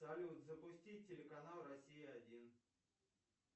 салют запусти телеканал россия один